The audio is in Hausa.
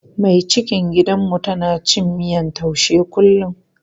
Mai cikin gidanmu tana cin miyan taushe kullum.